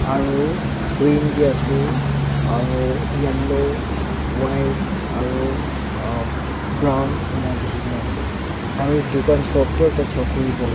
Aro green bi ase aro yellow white aro ahh brown ena dekhi kena ase aro dukan shop toh ekta chokri buhi--